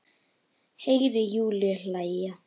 Heyri Júlíu hlæja.